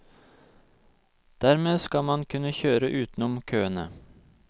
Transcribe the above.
Dermed skal man kunne kjøre utenom køene.